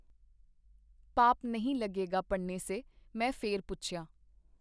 ਪਾਪ ਨਹੀਂ ਲਗੇਗਾ ਪੜ੍ਹਨੇ ਸੇ?” ਮੈਂ ਫੇਰ ਪੁੱਛਿਆ.